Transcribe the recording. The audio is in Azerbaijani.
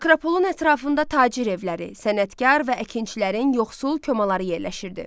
Akropolun ətrafında tacir evləri, sənətkar və əkinçilərin yoxsul komaları yerləşirdi.